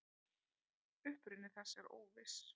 Uppruni þess er óviss.